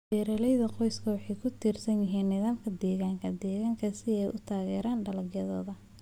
Beeralayda qoysku waxay ku tiirsan yihiin nidaamka deegaanka deegaanka si ay u taageeraan dalagyadooda.